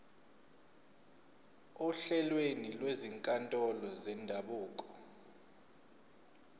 ohlelweni lwezinkantolo zendabuko